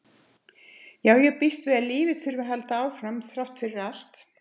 Já, ég býst við að lífið þurfi að halda áfram þrátt fyrir allt